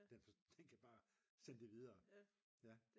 Den kan bare sende det videre